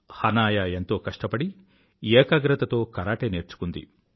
హనాయా ఎంతో కష్టపడి ఏకాగ్రతతో కరాటే నేర్చుకుంది